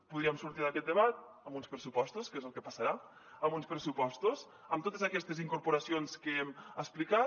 podríem sortir d’aquest debat amb uns pressupostos que és el que passarà amb uns pressupostos amb totes aquestes incorporacions que hem explicat